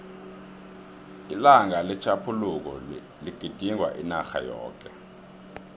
ilanga letjhaphuluko ligidingwa inarha yoke